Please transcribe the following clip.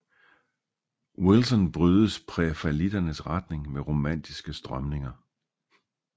Wilson brydes prærafaelitternes retning med romantiske strømninger